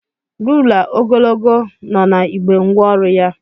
Rula ogologo no na igbé ngwa ọrụ ya.